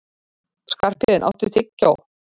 Skarphéðinn, áttu tyggjó?